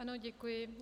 Ano, děkuji.